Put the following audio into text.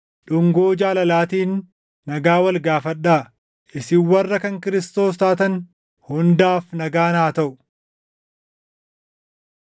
Dhungoo jaalalaatiin nagaa wal gaafadhaa. Isin warra kan Kiristoos taatan hundaaf nagaan haa taʼu.